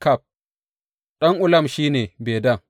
Ɗan Ulam shi ne, Bedan.